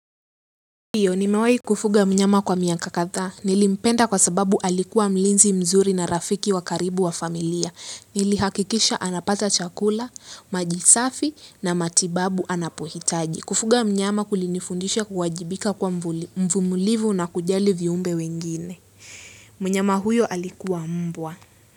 Ndio, nimewai kufuga mnyama kwa miaka kadhaa, nilimpenda kwa sababu alikua mlinzi mzuri na rafiki wa karibu wa familia. Nilihakikisha anapata chakula, maji safi, na matibabu anapohitaji. Kufuga mnyama kulinifundisha kuwajibika kuwa mvumilivu na kujali viumbe wengine. Mnyama huyo alikuwa mbwa.